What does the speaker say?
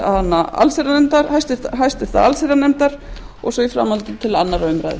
háttvirtrar allsherjarnefndar og svo í framhaldinu til annarrar umræðu